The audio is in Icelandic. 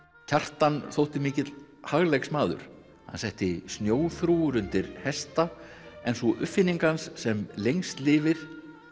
Kjartan þótti mikill hagleiksmaður hann setti snjóþrúgur undir hesta en sú uppfinning hans sem lengst lifir